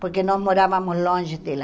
Porque nós morávamos longe dela.